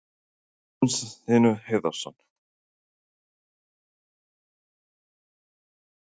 Magnús Hlynur Hreiðarsson: Af hverju eru svona góðir leikarar í Biskupstungum?